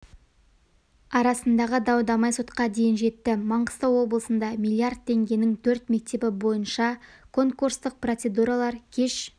арасындағы дау-дамай сотқа дейін жетті маңғыстау облысында миллиард теңгенің төрт мектебі бойынша конкурстық процедуралар кеш